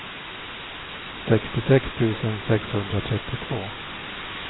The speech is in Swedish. sextiosex tusen sexhundratrettiotvå